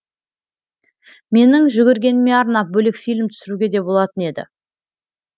менің жүгіргеніме арнап бөлек фильм түсіруге де болатын еді